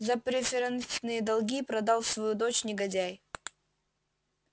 за преферансные долги продал свою дочь негодяй